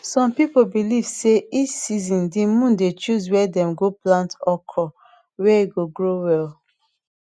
some people believe sey each season de moon dey choose where dem go plant okra where e go grow well